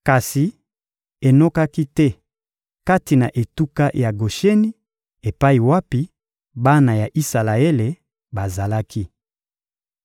Kasi enokaki te kati na etuka ya Gosheni epai wapi bana ya Isalaele bazalaki.